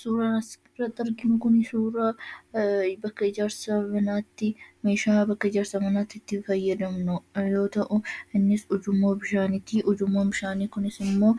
Suuraa kanaa gadii irratti kan argamu meeshaa bakka mana ijaarsaatti kan fayyadamnuu dha. Innis ujummoo bishaanii yammuu